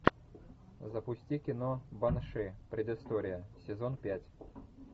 запусти кино банши предыстория сезон пять